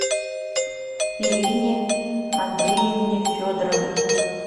ирине андреевне федоровой